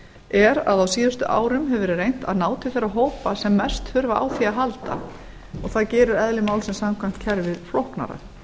er að á síðustu árum hefur verið reynt að ná til þeirra hópa sem mest þurfa á því að halda og það gerir samkvæmt eðli málsins samkvæmt kerfið flóknara